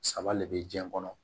Saba le bɛ jiɲɛ kɔnɔ